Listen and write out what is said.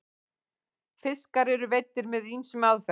fiskar eru veiddir með ýmsum aðferðum